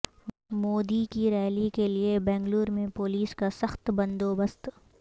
مودی کی ریلی کیلئے بنگلور میں پولیس کا سخت بندوبست